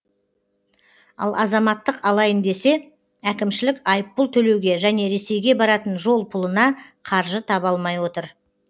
ал азаматтық алайын десе әкімшілік айыппұл төлеуге және ресейге баратын жол пұлына қаржы таба алмай отыр